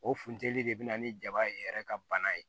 O funtɛnin de bɛ na ni jaba ye yɛrɛ ka bana ye